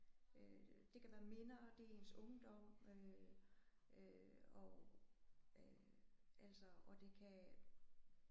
Øh det kan være minder det er ens ungdom øh og øh altså og det kan